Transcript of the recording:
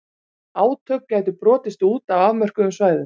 Átök gætu brotist út á afmörkuðum svæðum.